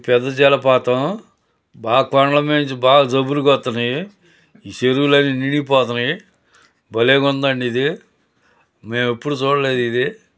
పెద్ద జలపాతం. బా కొండల మీది బ బాగా జువ్వూరుగా వస్తున్నాయి. ఈ చెరువులు అన్నీ నిండిపోతున్నాయ్. భలేగుందండి ఇది. మేము ఎప్పుడు చూడలేదు ఇది.